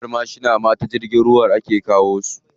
Manyan mashina ma ta jirgin ruwa ake kawo su.